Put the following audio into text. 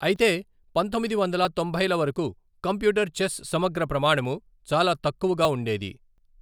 అయితే పంతొమ్మిది వందల తొంభైల వరకు కంప్యూటర్ చెస్ సమగ్ర ప్రమాణము చాలా తక్కువగా ఉండేది.